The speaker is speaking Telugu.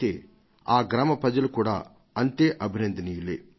అయితే ఆ గ్రామ ప్రజలు కూడా అంతే అభినందనీయులే